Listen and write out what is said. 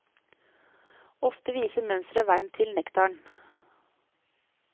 Ofte viser mønsteret veien til nektaren.